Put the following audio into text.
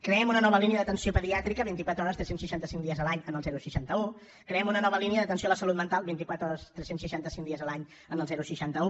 creem una nova línia d’atenció pediàtrica vint i quatre hores tres cents i seixanta cinc dies l’any en el seixanta un creem una nova línia d’atenció a la salut mental vint i quatre hores tres cents i seixanta cinc dies l’any en el seixanta un